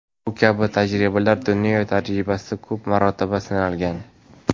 Bu kabi tajribalar dunyo tajribasida ko‘p marotaba sinalgan.